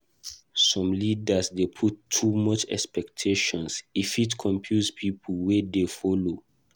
Some leaders dey put too much expectation; e fit confuse pipo wey dey follow.